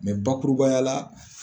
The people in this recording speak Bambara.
Mɛ bakurubaya la